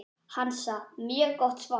Hansa: Mjög gott svar.